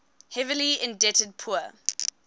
heavily indebted poor